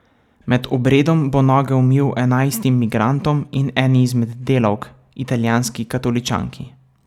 Med obredom bo noge umil enajstim migrantom in eni izmed delavk, italijanski katoličanki.